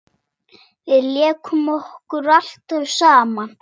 Við lékum okkur alltaf saman.